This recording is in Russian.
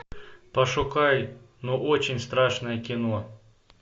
пошукай ну очень страшное кино